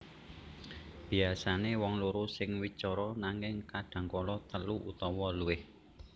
Biasané wong loro sing wicara nanging kadhangkala telu utawa luwih